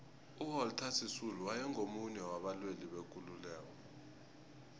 uwalter sisulu waye ngumunye waba lwelibekululeko